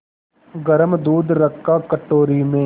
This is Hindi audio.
गरम दूध रखा कटोरी में